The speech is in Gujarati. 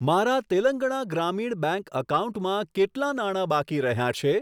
મારા તેલંગણા ગ્રામીણ બેંક એકાઉન્ટમાં કેટલા નાણા બાકી રહ્યાં છે?